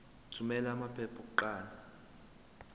thumela amaphepha okuqala